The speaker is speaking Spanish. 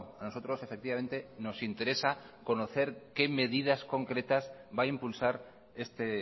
a nosotros efectivamente nos interesa conocer qué medidas concretas va a impulsar este